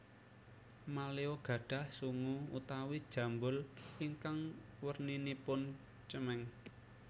Maleo gadhah sungu utawi jambul ingkang werninipun cemeng